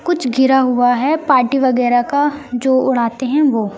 कुछ गिरा हुआ है पार्टी वगैरह का जो उड़ते हैं वो।